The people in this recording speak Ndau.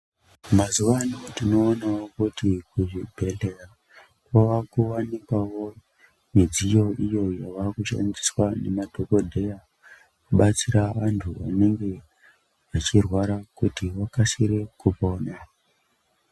Mazuwaano tinoonawo kuti kuzvibhedhlera kwakuwanikwawo midziyo iyo yavakushandiswa nemadhokodheya kubatsira munthu unenge achirwara kuti akasire kupona.